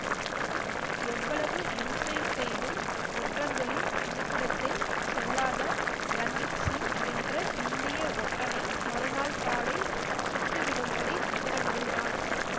எவ்வளவு இம்சை செய்தும் ஒற்றர்களின் இருப்பிடத்தை சொல்லாத ரஞ்சித்சிங் என்ற இந்திய ஒற்றனை மறுநாள் காலை சுட்டுவிடும்படி உத்தரவிடுகிறான்